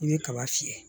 I bɛ kaba fiyɛ